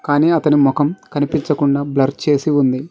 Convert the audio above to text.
కానీ అతని మొఖం కనిపించకుండా బ్లర్ చేసి ఉంది.